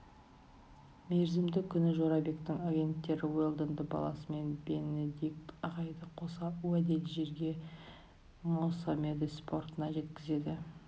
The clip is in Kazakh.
мерзімді күні жорабектің агенттері уэлдонды баласымен бенедикт ағайды қоса уәделі жерге моссамедес портына жеткізеді